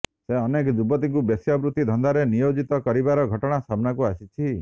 ସେ ଅନେକ ଯୁବତୀଙ୍କୁ ବେଶ୍ୟାବୃତ୍ତି ଧନ୍ଦାରେ ନିୟୋଜିତ କରିବାର ଘଟଣା ସାମନାକୁ ଆସିଛି